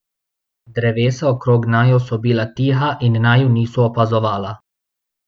Drevesa okrog naju so bila tiha in naju niso opazovala.